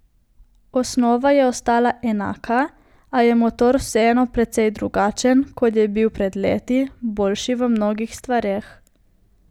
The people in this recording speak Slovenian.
Osnova je ostala enaka, a je motor vseeno precej drugačen, kot je bil pred leti, boljši v mnogih stvareh.